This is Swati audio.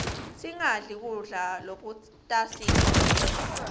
singadli kudla lokutasigulisa